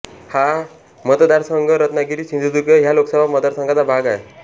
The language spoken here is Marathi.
हा मतदारसंघ रत्नागिरीसिंधुदुर्ग ह्या लोकसभा मतदारसंघाचा भाग आहे